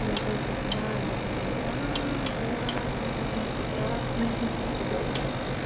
и я опять попадаю вот это-вот класно жизнь прекрасна и тому подобное